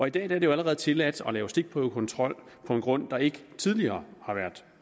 i dag er det allerede tilladt at lave stikprøvekontrol på en grund der ikke tidligere har været